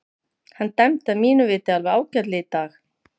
Hann dæmdi að mínu viti alveg ágætlega í dag.